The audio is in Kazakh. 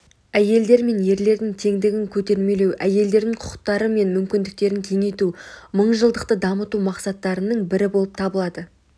әйелдер мен ерлердің теңдігін көтермелеу әйелдердің құқықтары мен мүмкіндіктерін кеңейту мыңжылдықты дамыту мақсаттарының бірі болып табылады